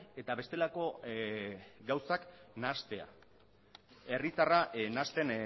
eta bestelako gauzak nahastea herritarra nahasten